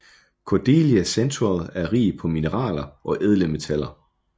Cordillera Central er rig på mineraler og ædle metaller